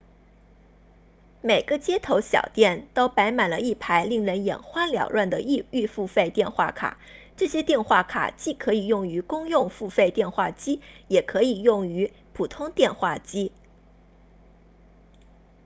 每个街头小店都摆满了一排令人眼花缭乱的预付费电话卡这些电话卡既可以用于公用付费电话机也可以用于普通电话机